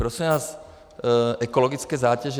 Prosím vás, ekologické zátěže.